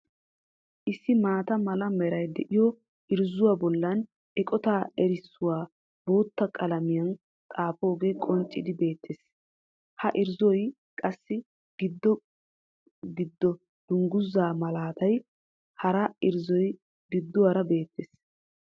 Issi maata mala meray de'iyo irzzuwa bollan eqotaa erissuwa bootta qalamiyan xaagoogee qonccidi beettees. Ha irzzuwayyoo qassi giddo gidan dungguzza malatiya hara irzzoy gidduwara beettees.